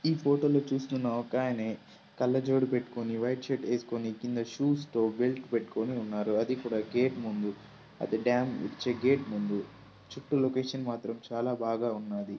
ఈ ఫొటో లో చూస్తన్న ఒకాయని కళ్ళజోడు పెట్టుకుని వైట్ షర్ట్ వేసుకుని కింద షూస్ తో బెల్ట్ పెట్టుకుని ఉన్నారు అది కూడా గేట్ ముందు అది డాం గేట్ముందు చుట్టూ లొకేషన్ మాత్రం చాలా బాగా ఉన్నాది.